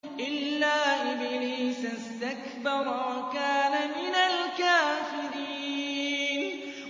إِلَّا إِبْلِيسَ اسْتَكْبَرَ وَكَانَ مِنَ الْكَافِرِينَ